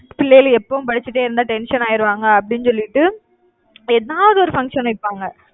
பிள்ளைகள எப்பவும் படிச்சுட்டே இருந்தா tension ஆயிருவாங்க அப்படின்னு சொல்லிட்டு ஏதாவது ஒரு function வைப்பாங்க